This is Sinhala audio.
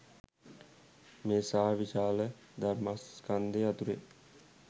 මේ සා විශාල ධර්මස්කන්ධය අතුරෙන්